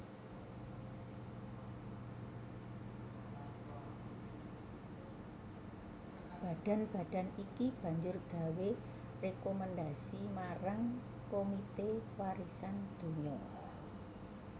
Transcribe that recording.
Badan badan iki banjur gawé rékomendhasi marang Komité Warisan Donya